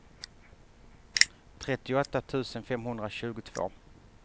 trettioåtta tusen femhundratjugotvå